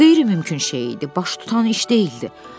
Qeyri-mümkün şey idi, baş tutan iş deyildi.